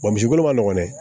misi kolo ma nɔgɔn dɛ